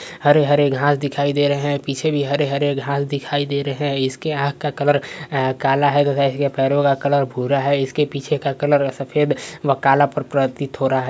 हरे-हरे घास दिखाई दे रहा है पीछे भी हरे-हरे घास दिखाई दे रहे हैं। इसके आँख का कलर काला है तथा इसके पैरो का कलर भूरा है। इसके पीछे का कलर सफ़ेद व काला प्रतीत हो रहा --